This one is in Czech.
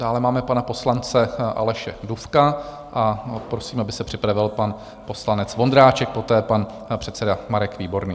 Dále máme pana poslance Aleše Dufka a prosím, aby se připravil pan poslanec Vondráček, poté pan předseda Marek Výborný.